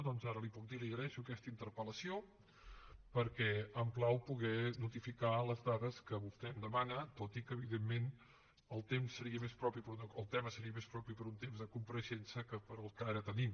doncs ara li puc dir li agraeixo aquesta interpel·què em plau poder notificar les dades que vostè em demana tot i que evidentment el tema seria més propi per a un tema de compareixença que per al que ara tenim